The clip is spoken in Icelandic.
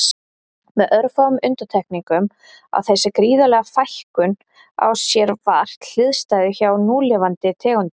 Með örfáum undantekningum á þessi gríðarlega fækkun á sér vart hliðstæðu hjá núlifandi tegundum.